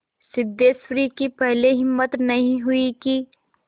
सिद्धेश्वरी की पहले हिम्मत नहीं हुई कि